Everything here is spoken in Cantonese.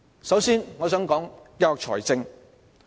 首先，我想談談教育財政。